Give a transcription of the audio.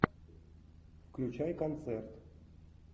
включай концерт